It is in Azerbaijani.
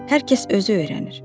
Hər kəs özü öyrənir.